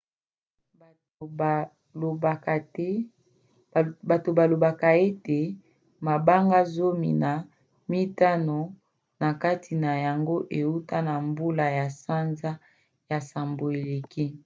bato balobaka ete mabanga zomi na mitano na kati na yango euta na mbula ya sanza ya nsambo eleki